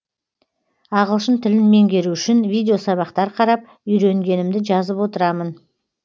ағылшын тілін меңгеру үшін видеосабақтар қарап үйренгенімді жазып отырамын